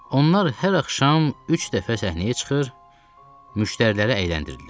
Onlar hər axşam üç dəfə səhnəyə çıxır, müştəriləri əyləndirirdilər.